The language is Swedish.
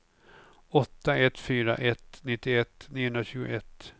åtta ett fyra ett nittioett niohundratjugoett